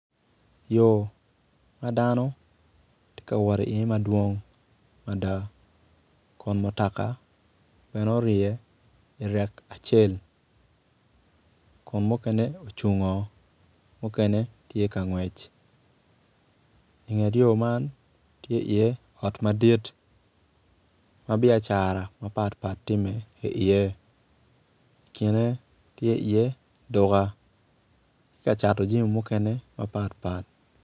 Yo ma dano ti kawot iye madwong mada kun mutoka bene orye irek acel kun mukene ocungo mukene tye ka ngwec inget yo man tye ot madit ma biacara mapatpat timme iye kine tye iye duka ki kacatu jami mukene mapatpat